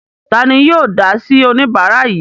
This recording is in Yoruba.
Ta ni yóò dá sí oníbàárà yìí?